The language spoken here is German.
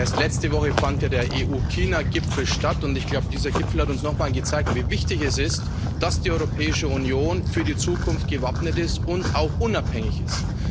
Erst letzte Woche fand der EU China Gipfel statt, und ich glaube dieser Gipfel hat uns nochmal gezeigt, wie wichtig es ist, dass die Europäische Union für die Zukunft gewappnet ist und auch unabhängig ist.